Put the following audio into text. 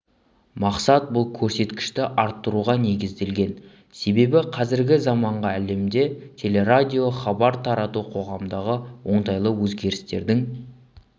мақсат бұл көрсеткішті арттыруға негізделген себебі қазіргі заманғы әлемде теле-радио хабар тарату қоғамдағы оңтайлы өзгерістердің